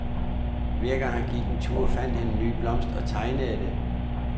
Hver gang han gik en tur fandt han en ny blomst og tegnede den.